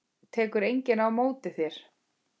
Tekur enginn á móti þér?